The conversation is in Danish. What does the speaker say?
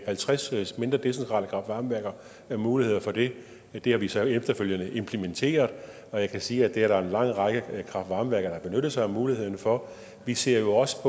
halvtreds mindre decentrale kraft varme værker mulighed for det det har vi så efterfølgende implementeret og jeg kan sige at det er der en lang række kraft varme værker der har benyttet sig af muligheden for vi ser jo også